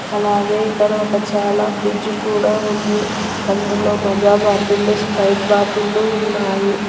అలాగే ఇక్కడ ఒక చాలా ఫ్రిజ్ కూడా ఉంది అందులో మజా బాటిళ్లు స్ప్రైట్ బాటిల్లు ఉన్నాయి.